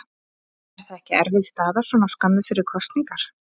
Er það ekki erfið staða svona skömmu fyrir kosningar?